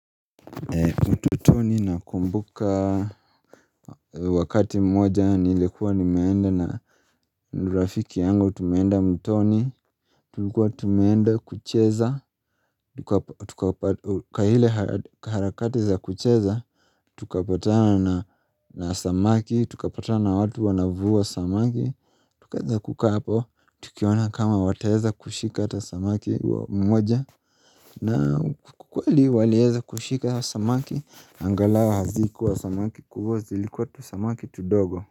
Utotoni nakumbuka wakati mmoja nilikuwa nimeenda na rafiki yangu tumeenda mtoni Tulikuwa tumeenda kucheza, tukapata, ka hile harakati za kucheza Tukapatana na samaki, tukapatana na watu wanavuwa samaki Tukaanza kukaa hapo, tukiona kama wataweza kushika ata samaki wa mwoja na ukweli waliweza kushika samaki Angalao hazikuwa samaki kubwa zilikuwa tusamaki tudogo.